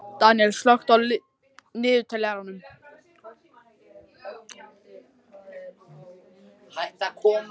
Daníella, slökktu á niðurteljaranum.